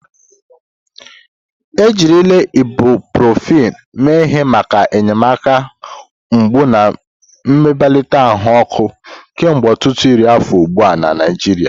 Ejirila ibuprofen mee ihe maka enyemaka mgbu na mbelata ahụ ọkụ kemgbe ọtụtụ iri afọ ugbu a na Naijiria.